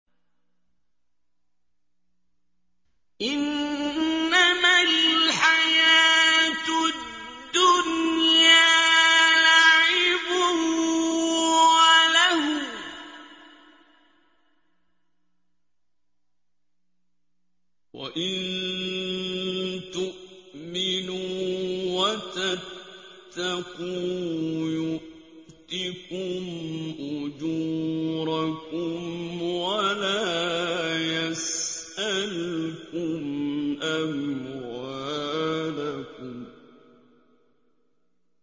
إِنَّمَا الْحَيَاةُ الدُّنْيَا لَعِبٌ وَلَهْوٌ ۚ وَإِن تُؤْمِنُوا وَتَتَّقُوا يُؤْتِكُمْ أُجُورَكُمْ وَلَا يَسْأَلْكُمْ أَمْوَالَكُمْ